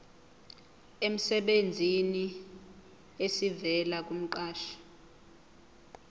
emsebenzini esivela kumqashi